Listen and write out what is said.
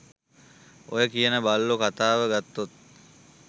ඔය කියන බල්ලො කතාව ගත්තොත්